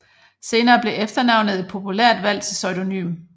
Senere blev efternavnet et populært valg til pseudonym